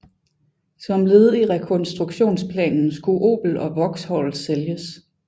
Som led i rekonstruktionsplanen skulle Opel og Vauxhall sælges